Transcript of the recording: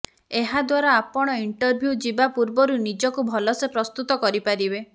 ଏହାଦ୍ୱାରା ଆପଣ ଇଣ୍ଟରଭ୍ୟୁ ଯିବା ପୂରବରୁ ନିଜକୁ ଭଲସେ ପ୍ରସ୍ତୁତ କରିପାରିବେ